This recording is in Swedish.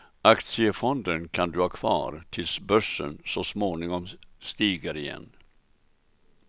Aktiefonden kan du ha kvar tills börsen så småningom stiger igen.